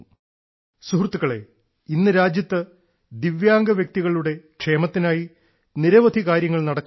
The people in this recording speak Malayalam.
സുഹൃത്തുക്കളെ ഇന്ന് രാജ്യത്ത് ദിവ്യാംഗ വ്യക്തികളുടെ ക്ഷേമത്തിനായി നിരവധി കാര്യങ്ങൾ നടക്കുന്നുണ്ട്